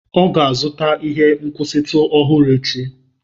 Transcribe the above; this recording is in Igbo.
Ọ ga-azụta ihe nkwụsịtụ ọhụrụ echi.